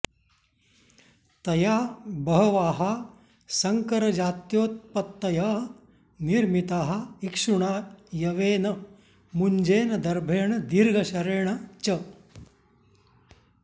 तया बहवः सङ्करजात्योत्पत्तयः निर्मिताः इक्षुणा यवेन मुञ्जेन दर्भेण दीर्घशरेण च